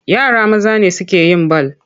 Yara maza ne suke yin bal.